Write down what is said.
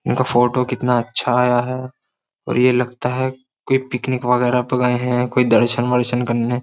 इनका फोटो कितना अच्छा आया है और ये लगता है कोई पिकनिक वगैरह प गए हैं कोई दर्शन वर्शन करने।